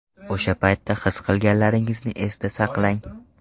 O‘sha paytda his qilganlaringizni esda saqlang.